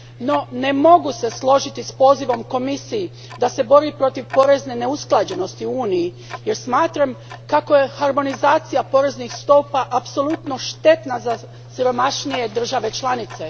No, ne mogu se složiti s pozivom Komisiji da se bori protiv porezne neusklađenosti u Uniji, jer smatram kako je harmonizacija poreznih stopa apsolutno štetna za siromašnije države članice.